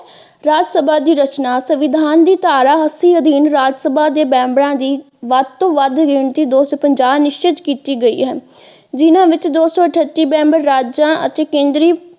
ਰਾਜਸਭਾ ਦੀ ਰਚਨਾ ਸੰਵਿਧਾਨ ਦੀ ਧਾਰਾ ਐੱਸ ਸੀ ਅਧੀਨ ਰਾਜਸਭਾ ਦੇ ਮੈਂਬਰਾਂ ਦੀ ਵੱਧ ਤੋਂ ਵੱਧ ਗਿਣਤੀ ਦੋ ਸੋ ਪੰਜਾਹ ਨਿਸ਼ਚਿਤ ਕੀਤੀ ਗਈ ਹੈ ਜਿੰਨ੍ਹਾ ਵਿੱਚੋ ਦੋ ਸੋ ਅੱਠਤੀ ਮੈਂਬਰ ਰਾਜਾਂ ਅਤੇ ਕੇਂਦਰੀ।